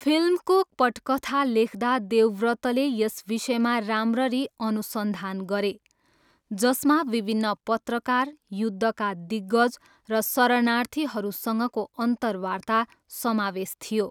फिल्मको पटकथा लेख्दा, देवव्रतले यस विषयमा राम्ररी अनुसन्धान गरे, जसमा विभिन्न पत्रकार, युद्धका दिग्गज र शरणार्थीहरूसँगको अन्तर्वार्ता समावेश थियो।